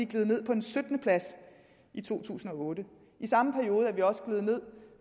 gledet ned på en syttende plads i to tusind og otte i samme periode var vi også gledet ned